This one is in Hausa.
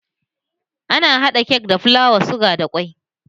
Ana hada kek da filawa, suga da ƙwai